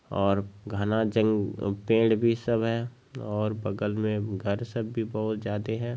और घना जंग-पेड़ भी सब है और बगल में घर सब भी बहुत जादे है।